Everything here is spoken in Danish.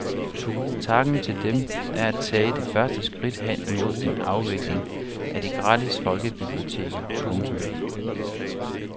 Takken til dem er at tage det første skridt hen imod en afvikling af de gratis folkebiblioteker. punktum